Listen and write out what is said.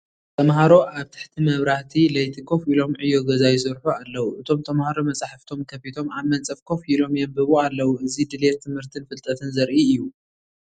ተምሃሮ ኣብ ትሕቲ መብራህቲ ለይቲ ኮፍ ኢሎም ዕዮ ገዛ ይሰርሑ ኣለዉ። እቶም ተምሃሮ መጻሕፍቶም ከፊቶም ኣብ መንጸፍ ኮፍ ኢሎም የንብቡ ኣለዉ። እዚ ድሌት ትምህርትን ፍልጠትን ዘርኢ እዩ።